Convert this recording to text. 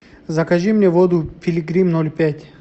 закажи мне воду пилигрим ноль пять